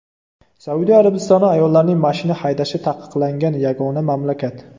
Saudiya Arabistoni ayollarning mashina haydashi taqiqlangan yagona mamlakat.